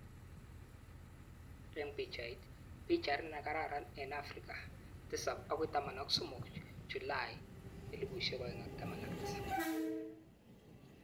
Eng Picbait: Pichat nrkararan eng Afrika 7-13 Julai 2017